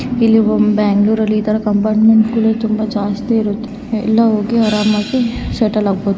ಇಲ್ಲಿ ಬೆಂಗಳೂರಲ್ಲಿ ಇತರ ಕಂಪಾರ್ಮೆಂಟ್ಗ ಳು ತುಂಬಾ ಜಾಸ್ತಿ ಇರುತ್ತೆ ಎಲ್ಲಾ ಹೋಗಿ ಆರಾಮಾಗಿ ಸೆಟಲ್ ಆಗಬಹುದು.